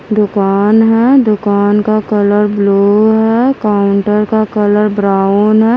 दुकान है दुकान का कलर ब्लू है काउंटर का कलर ब्राउन है।